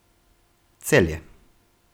Celje.